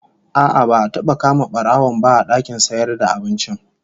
A'a, ba'a taba kama barawon, ba a dakin sayarvda abincin